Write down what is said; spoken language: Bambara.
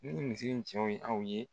Ni misi in cɔ ye aw ye